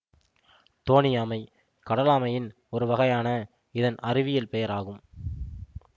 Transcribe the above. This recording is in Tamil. தோணியாமை கடலாமையின் ஒரு வகையான இதன் அறிவியல் பெயர் ஆகும்